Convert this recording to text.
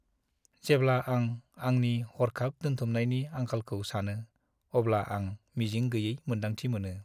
जेब्ला आं आंनि हर्खाब दोनथुमनायनि आंखालखौ सानो, अब्ला आं मिजिं गैयै मोन्दांथि मोनो।